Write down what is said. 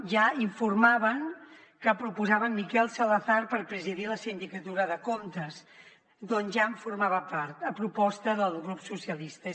ja informaven que proposaven miquel salazar per presidir la sindicatura de comptes d’on ja formava part a proposta del grup socialistes